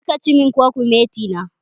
Kar ka ci min kwakumeti na!